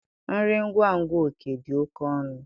Nri ngwa ngwa Oke dị oke ọnụ